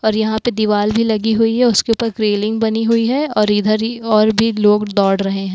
और यहां पे दिवाली लगी हुई है उसके पास रेलिंग बनी हुई है और इधर ही और भी लोग दौड़ रहे हैं।